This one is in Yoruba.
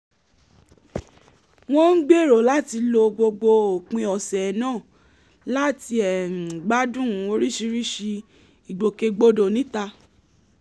wọ́n ń gbèrò láti lo gbogbo òpin ọ̀sẹ̀ náà láti gbádùn oríṣiríṣi ìgbòkègbodò níta